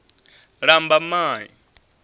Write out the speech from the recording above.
lambamai